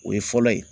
O ye fɔlɔ ye